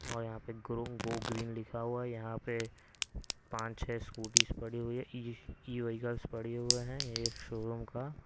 और यहां पे ग्रो गो ग्रीन लिखा हुआ है यहां पे पांच-छह स्कूटीज पड़ी हुई है ई व्हीकल्स पड़ी हुए हैं यह शोरूम का--